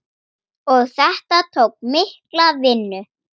Og þetta tók mikla vinnu.